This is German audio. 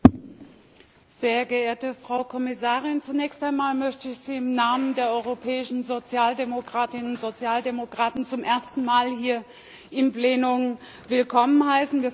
Herr Präsident, sehr geehrte Frau Kommissarin! Zunächst einmal möchte ich Sie im Namen der europäischen Sozialdemokratinnen und Sozialdemokraten zum ersten Mal hier im Plenum willkommen heißen!